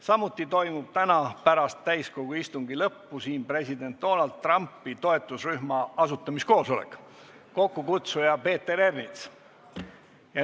Samuti toimub täna pärast täiskogu istungi lõppu siin president Donald Trumpi toetusrühma asutamiskoosolek, mille kokkukutsuja on Peeter Ernits.